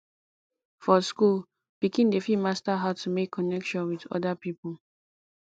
for school pikin dey fit master how to make connection with oda people